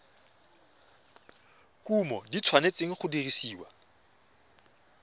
kumo di tshwanetse go dirisiwa